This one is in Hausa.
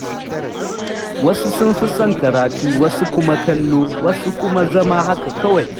Wasu sun fi son karatu, wasu kuma kallo, wasu kuma zama haka kawai.